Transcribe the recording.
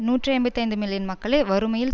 நூற்றி ஐம்பத்தி ஐந்து மில்லியன் மக்களை வறுமையில்